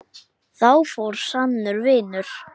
Þar fór sannur vinur.